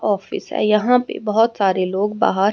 office है यहां पे बहुत सारे लोग बाहर--